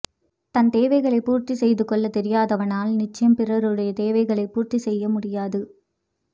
தன் தேவைகளைப் பூர்த்தி செய்து கொள்ளத் தெரியாதவனால் நிச்சயம் பிறருடைய தேவைகளை பூர்த்தி செய்ய முடியாது